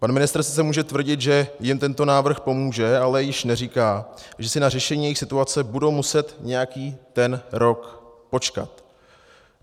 Pan ministr sice může tvrdit, že jim tento návrh pomůže, ale již neříká, že si na řešení jejich situace budou muset nějaký ten rok počkat.